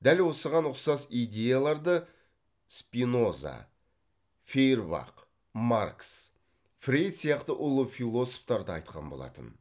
дәл осыған ұқсас идеяларды спиноза фейербах маркс фрейд сияқты ұлы философтар да айтқан болатын